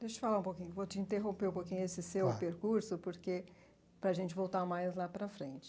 Deixa eu te falar um pouquinho, vou te interromper um pouquinho esse seu percurso, porque, para a gente voltar mais lá para frente.